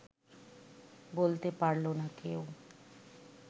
বলতে পারল না কেউ